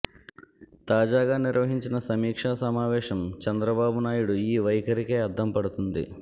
తాజాగా నిర్వహించిన సమీక్ష సమావేశం చంద్రబాబునాయుడు ఈ వైఖరికే అద్దం పడుతోంది